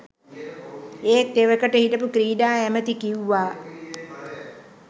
ඒත් එවකට හිටපු ක්‍රීඩා ඇමැති කිව්වා